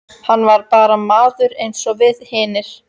Hann var bara maður eins og við hinir.